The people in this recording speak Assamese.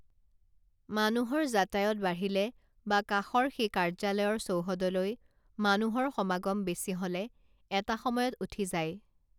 মানুহৰ যাতায়ত বাঢ়িলে বা কাষৰ সেই কাৰ্য্যালয়ৰ চৌহদলৈ মানুহৰ সমাগম বেছি হলে এটা সময়ত উঠি যায়